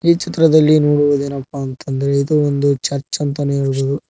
ಈ ಚಿತ್ರದಲ್ಲಿ ನೋಡೋದೇ ಏನಪ್ಪಾ ಎಂದರೆ ಇದು ಒಂದು ಚರ್ಚ್ ಅಂತನೇ ಹೇಳಬಹುದು.